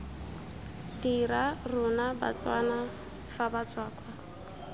dira rona batswana fa batswakwa